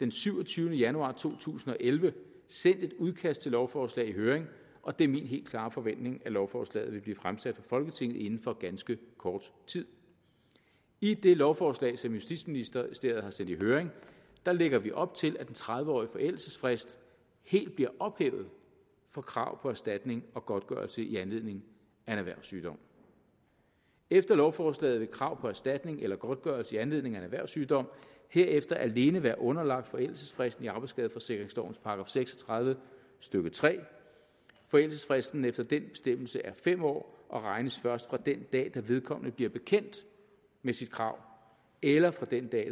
den syvogtyvende januar to tusind og elleve sendt et udkast til et lovforslag i høring og det er min helt klare forventning at lovforslaget vil blive fremsat for folketinget inden for ganske kort tid i det lovforslag som justitsministeriet har sendt i høring lægger vi op til at den tredive årige forældelsesfrist helt bliver ophævet for krav på erstatning og godtgørelse i anledning af en erhvervssygdom efter lovforslaget vil et krav på erstatning eller godtgørelse i anledning af en erhvervssygdom herefter alene være underlagt forældelsesfristen i arbejdsskadeforsikringslovens § seks og tredive stykke tredje forældelsesfristen efter den bestemmelse er fem år og regnes først fra den dag da vedkommende bliver bekendt med sit krav eller fra den dag